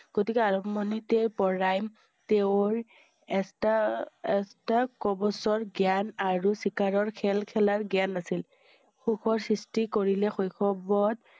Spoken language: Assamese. গতিকে আৰম্ভণিতে পৰাই তেওঁ~ৰ এটা~এটা কবছৰ জ্ঞান আৰু চিকাৰৰ খেল খেলাৰ জ্ঞান আছিল। সুখৰ সৃষ্টি কৰিলে শৈশৱত